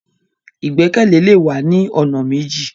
Igbẹkẹle le wa ni ọ̀nà méjì.